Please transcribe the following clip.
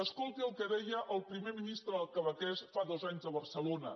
escolti el que deia el primer ministre quebequès fa dos anys a barcelona